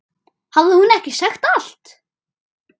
Hafði hún ekki sagt allt?